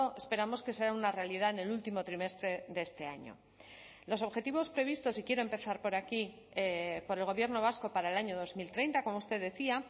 esperamos que sea una realidad en el último trimestre de este año los objetivos previstos y quiero empezar por aquí por el gobierno vasco para el año dos mil treinta como usted decía